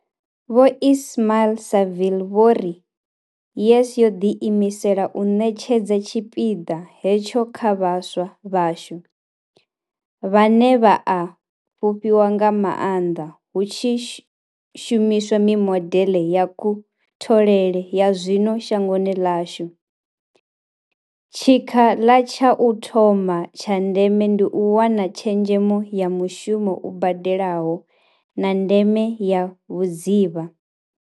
Vho Ismail-Saville vho ri, YES yo ḓiimisela u ṋetshedza tshipiḓa hetsho kha vhaswa vhashu, vhane vha a fhufhiwa nga maanḓa hu tshi shumiswa mimodeḽe ya kutholele ya zwino shangoni ḽashu, tshikha la tsha u thoma tsha ndeme ndi u wana tshezhemo ya mushumo u badelaho, na ndeme ya vhudzivha.